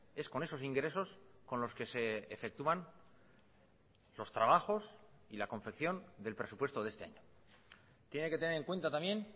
es con esos ingresos con los que se efectúan los trabajos y la confección del presupuesto de este año tiene que tener en cuenta también